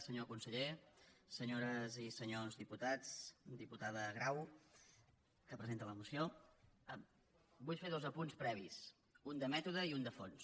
senyor conseller senyores i senyors diputats diputada grau que pre·senta la moció vull fer dos apunts previs un de mèto·de i un de fons